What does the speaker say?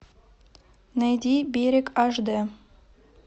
найди берег аш дэ